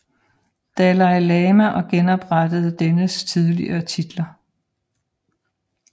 Dalai Lama og genoprettede dennes tidligere titler